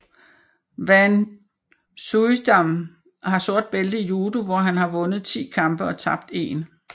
Van Suijdam har sort bælte i judo hvor han har vundet 10 kampe og tabt 1